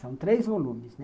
São três volumes, né?